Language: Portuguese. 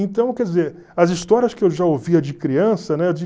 Então, quer dizer, as histórias que eu já ouvia de criança, né?